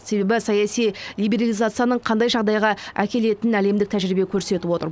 себебі саяси либерализацияның қандай жағдайға әкелетінін әлемдік тәжірибе көрсетіп отыр